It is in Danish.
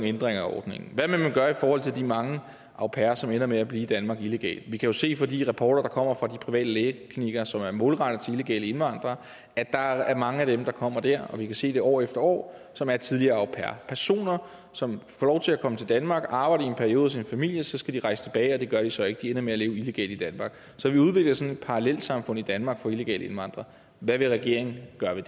ændringer af ordningen hvad vil man gøre i forhold til de mange au pairer som ender med at blive i danmark illegalt vi kan jo se på de rapporter der kommer fra de private lægeklinikker som er målrettet til illegale indvandrere at der er mange af dem der kommer der og vi kan se det år efter år som er tidligere au pairer personer som får lov til at komme til danmark og arbejde i en periode hos en familie så skal de rejse tilbage og det gør de så ikke de ender med at leve illegalt i danmark så vi udvikler sådan et parallelsamfund i danmark for illegale indvandrere hvad vil regeringen gøre ved